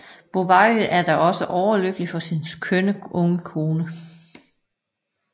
Bovary er da også overlykkelig for sin kønne unge kone